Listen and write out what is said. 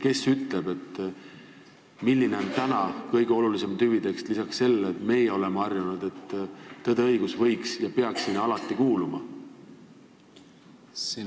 Kes ütleb, milline on praegusel ajal kõige olulisem tüvitekst peale selle, nagu meie oleme harjunud, et "Tõde ja õigus" peaks alati kohustusliku kirjanduse hulka kuuluma?